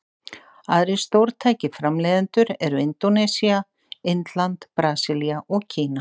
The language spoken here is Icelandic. Aðrir stórtækir framleiðendur eru Indónesía, Indland, Brasilía og Kína.